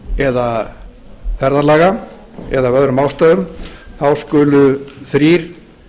eða ferðalaga eða af öðrum ástæðum þá skulu þrír